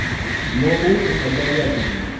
но очень обаятельный